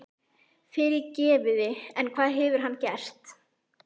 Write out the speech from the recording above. Fyrirgefiði en hvað hefur hann gert?